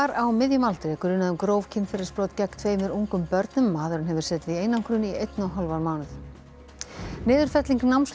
á miðjum aldri er grunað um gróf kynferðisbrot gegn tveimur ungum börnum maðurinn hefur setið í einangrun í einn og hálfan mánuð niðurfelling námslána